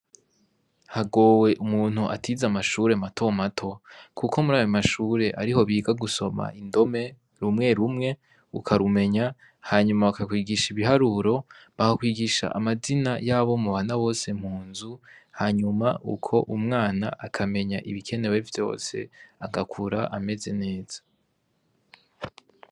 Hagowe umuntu atize amashure matomato kuko murayo mashure ariho biga gusoma indome rumwe rumwe ukarumenya, hanyuma bakakwigisha ibiharuro, bakakwigisha amazina yabo mubana bose munzu, hanyuma uko umwana akamenya ibikenewe vyose agakura ameze neza.